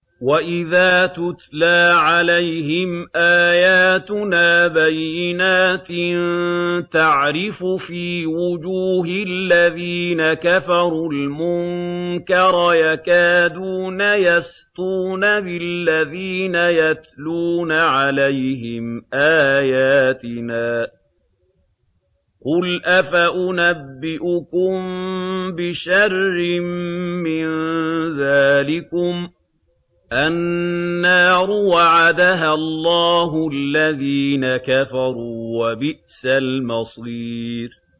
وَإِذَا تُتْلَىٰ عَلَيْهِمْ آيَاتُنَا بَيِّنَاتٍ تَعْرِفُ فِي وُجُوهِ الَّذِينَ كَفَرُوا الْمُنكَرَ ۖ يَكَادُونَ يَسْطُونَ بِالَّذِينَ يَتْلُونَ عَلَيْهِمْ آيَاتِنَا ۗ قُلْ أَفَأُنَبِّئُكُم بِشَرٍّ مِّن ذَٰلِكُمُ ۗ النَّارُ وَعَدَهَا اللَّهُ الَّذِينَ كَفَرُوا ۖ وَبِئْسَ الْمَصِيرُ